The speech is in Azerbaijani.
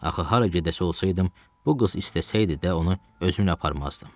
Axı hara gedəsi olsaydım, bu qız istəsəydi də onu özümlə aparmazdım.